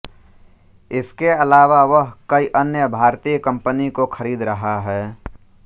इसके अलावा वह कई अन्य भारतीय कंपनी को खरीद रहा है